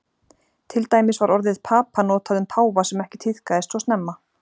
Til dæmis var orðið papa notað um páfa sem ekki tíðkaðist svo snemma.